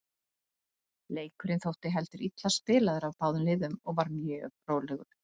Leikurinn þótti heldur illa spilaður af báðum liðum og var mjög rólegur.